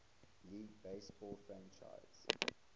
league baseball franchise